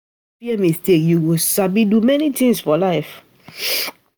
If you no fear mistake, you go sabi do many things for life.